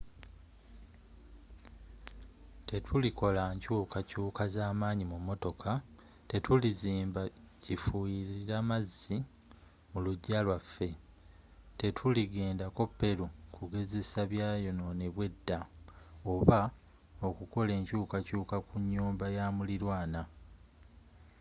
tetulikola nkyukakyuka zamanyi ku motoka tetulizimba kifuyirira mazzi mulujja lwaffe tetuligenda ko peru kugezesa byayononebwa edda oba okukola enkyukakyuka ku nyumba yamulirwaana